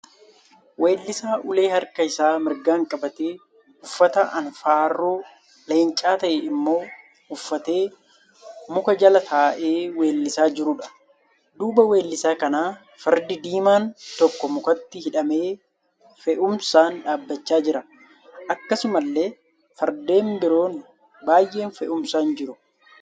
Weellisaa ulee harka isaa mirgaan qabate uffata anfaarroo leencaa ta'e immoo uffatee muka jala ta'ee weellisaa jiruudha. Duuba weellisaa kanaa Fardi diimaan tokko mukatti hidhamee fe'umsaan dhaabbachaa jira. Akkasumallee Fardeen biroon baay'een fe'umsaan jiru.